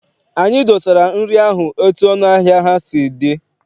Anyị dosara nri ahụ etu ọnụ ahịa ha si dị.